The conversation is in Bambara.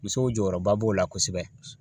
Musow jɔyɔrɔba b'o la kosɛbɛ.